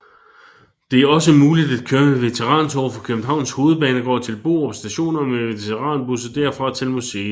Det er også muligt at køre med veterantog fra Københavns Hovedbanegård til Borup Station og med veteranbusser derfra til museet